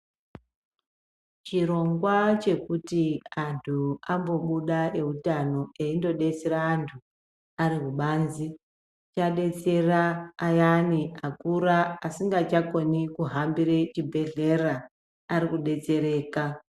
Chirongwa chekuti antu ambobuda eutano eindo detsera antu arikubanze , chadetsera ayani akura asingachakoni kuhambire chibhedhlera arikudetsereka.